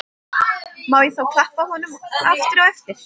Má ég þá klappa honum aftur á eftir?